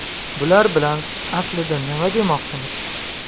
Bular bilan aslida nima demoqchimiz?